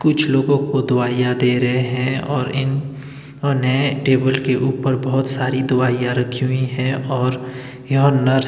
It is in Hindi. कुछ लोगों को दवाईयां दे रहे हैं और इन्होंने टेबल के ऊपर बहोत सारी दवाईयां रखी हुई है और यहां नर्स --